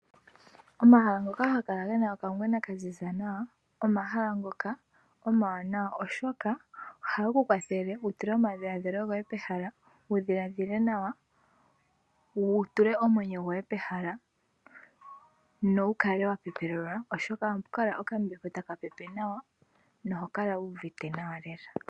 Omahala ngoka haga kala gena okangwena ka ziza nawa omahala ngoka omawanawa. Oshoka ohage kukwathele wu tule omadhiladhilo goye pehala, wudhiladhile nawa, wutule omwenyo goye pehala nowukale wa pepelelwa. Oshoka ohapu kala okambepo taka pepe nawa noho kala wu uvite nawa lela.